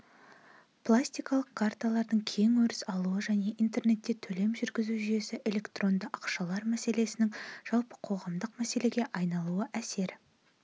пластикалық карталардың кең өріс алуы және интернетте төлем жүргізу жүйесі электронды ақшалар мәселесінің жалпы қоғамдық мәселеге айналуына әсер